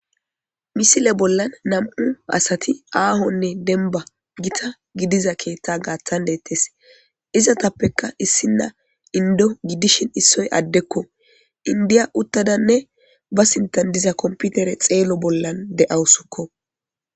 Misile bolan nam'u asati dalgane gita aaho gidiza keetha gaathan deetes izetape issina indo gidishin issioy addeko indiya uthadane ba sinthan diza computere xeelo bolan de'awusu.